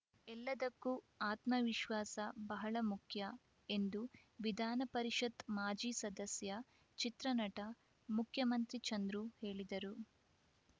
ಎಲ್ಲದಕ್ಕೂ ಆತ್ಮವಿಶ್ವಾಸ ಬಹಳ ಮುಖ್ಯ ಎಂದು ವಿಧಾನಪರಿಷತ್‌ ಮಾಜಿ ಸದಸ್ಯ ಚಿತ್ರನಟ ಮುಖ್ಯಮಂತ್ರಿ ಚಂದ್ರು ಹೇಳಿದರು